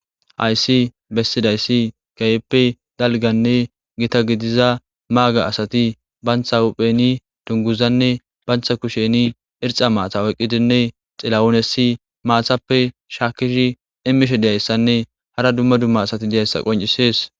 Hayssi bessidayssi keehippe dalganne gita gidiza maaga asati bantha hupheni dunguzanne bantha kusheni irxxa maatha oyqqidinne xilawunesi maathappe shaakkishi imishe deyayssanne hara dumma dumma asati diyayssa qoncisees.